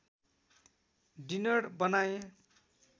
dinner बनाए